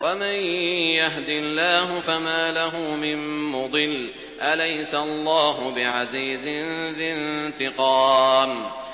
وَمَن يَهْدِ اللَّهُ فَمَا لَهُ مِن مُّضِلٍّ ۗ أَلَيْسَ اللَّهُ بِعَزِيزٍ ذِي انتِقَامٍ